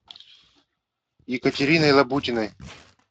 екатериной лабутиной